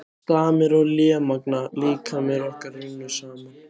Stamir og lémagna líkamir okkar runnu saman.